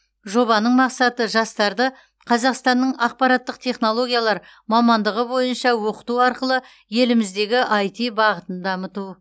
жобаның мақсаты жастарды қазақстанның ақпараттық технологиялар мамандығы бойынша оқыту арқылы еліміздегі іт бағытын дамыту